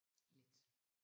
Lidt